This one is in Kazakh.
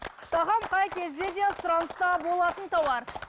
тағам қай кезде де сұраныста болатын тауар